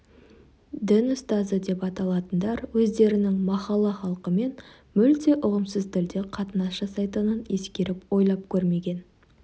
дін ұстазы деп аталатындар өздерінің махалла халқымен мүлде ұғымсыз тілде қатынас жасайтынын ескеріп ойлап көрмеген